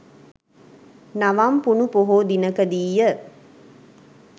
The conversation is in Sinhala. නවම් පුනු පොහෝ දිනකදීය.